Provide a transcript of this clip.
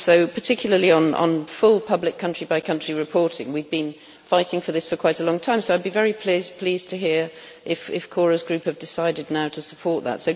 Particularly on full public country-by-country reporting, we've been fighting for this for quite a long time, so I'd be very pleased to hear if Cora's group have now decided to support that.